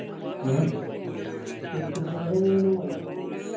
ഉം cycle ride എങ്ങനേനു vibe ഏന് ചോയ്ച്ചയ